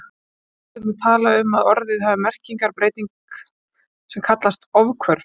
Er þá stundum talað um að orðið hafi merkingarbreyting sem kallast ofhvörf.